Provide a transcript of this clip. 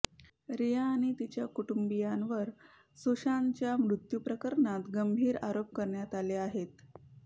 रिया आणि तिच्या कुटुंबियावर सुशांतच्या मृत्यू प्रकणात गंभीर आरोप करण्यात आले आहेत